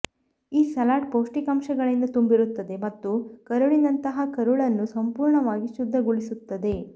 ಈ ಸಲಾಡ್ ಪೌಷ್ಟಿಕಾಂಶಗಳಿಂದ ತುಂಬಿರುತ್ತದೆ ಮತ್ತು ಕರುಳಿನಂತಹ ಕರುಳನ್ನು ಸಂಪೂರ್ಣವಾಗಿ ಶುದ್ಧಗೊಳಿಸುತ್ತದೆ